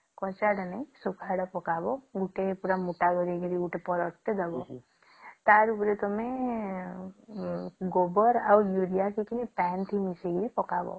କଞ୍ଚା ଟେ ନାଇଁ ଶୁଖା ଟେ ପକାଵା ଗୁଟ ପୁରା ମୋଟା କରିକି ଗୋଟେ ପାରଦ ଟେ ଦବ ତାରି ଉପରେ ତମେ ଗୋବର ଆଉ ୟୁରିଆ କିଛି ପାଣୀ ଥି ମିସେଇକି ପକାଵା